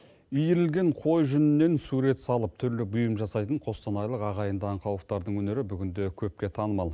иірілген қой жүнінен сурет салып түрлі бұйым жасайтын қостанайлық ағайынды аңқауовтардың өнері бүгінде көпке танымал